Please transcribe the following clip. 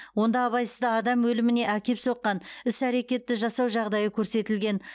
онда абайсызда адам өліміне әкеп соққан іс әрекетті жасау жағдайы көрсетілген